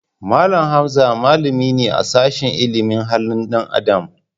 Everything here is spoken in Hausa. Mallam Hamza malami ne a sashin ilimin halin dan Adam.